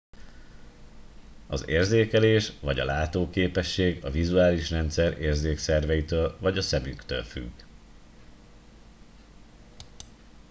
az érzékelés vagy a látóképesség a vizuális rendszer érzékszerveitől vagy a szemektől függ